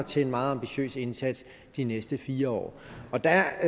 til en meget ambitiøst indsats de næste fire år og der